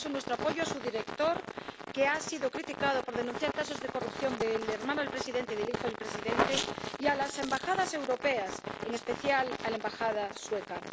Por eso, nuestro apoyo a su director —que ha sido criticado por denunciar casos de corrupción del hermano del presidente y del hijo del presidente— y a las Embajadas europeas, en especial a la Embajada sueca.